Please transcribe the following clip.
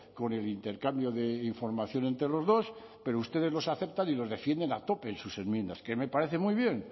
con el intercambio de información entre los dos pero ustedes los aceptan y los defienden a tope en sus enmiendas que me parece muy bien